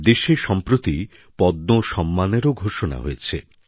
দেশে সম্প্রতি পদ্ম সম্মানও ঘোষণা করা হয়েছে